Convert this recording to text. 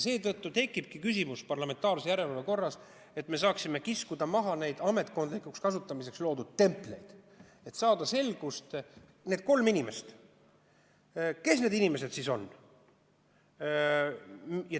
Seetõttu tekibki küsimus, et kas me parlamentaarse järelevalve korras saaksime kiskuda maha need ametkondlikuks kasutamiseks loodud templid ja saada selgust, kes need kolm inimest siis on.